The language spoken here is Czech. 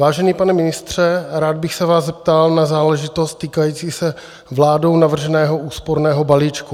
Vážený pane ministře, rád bych se vás zeptal na záležitost týkající se vládou navrženého úsporného balíčku.